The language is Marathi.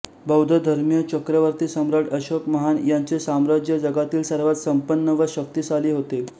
बौद्ध धर्मीय चक्रवर्ती सम्राट अशोक महान यांचे साम्राज्य जगातील सर्वात संपन्न व शक्तिशाली होते